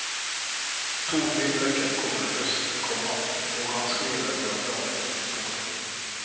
To nye bøker kommer ihøst, komma og han skriver uavlatelig. punktum